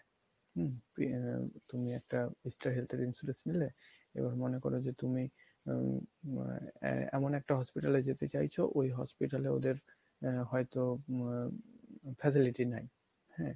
তুমি একটা Star Health এর insurance নিলে এবার মনে করো যে তুমি হম আহ এমন একটা hospital এ যেতে চাইছো ওই hospital এ ওদের আহ হয়তো facility নাই।